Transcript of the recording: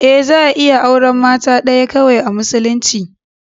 Eh za a iya auren mata ɗaya kawai a musulunci.